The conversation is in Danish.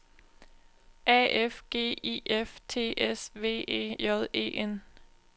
A F G I F T S V E J E N